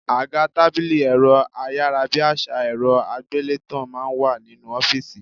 Àga, tábìlì, ẹ̀rọ ayárabíàṣá, ẹ̀rọ àgbélétan máa ń wà nínú ọ́fìsì